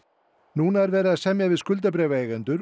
núna er verið að semja við